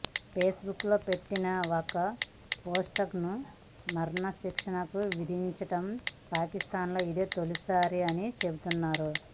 face book లో పెట్టిన ఒక పోస్ట్కి మరణశిక్షను విధించటం పాకిస్థాన్లో ఇదే తొలిసారి అని చెబుతున్నారు